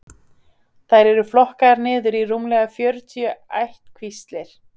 þær eru flokkaðar niður í rúmlega fjörutíu ættkvíslir